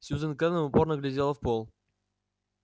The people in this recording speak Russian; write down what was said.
сьюзен кэлвин упорно глядела в пол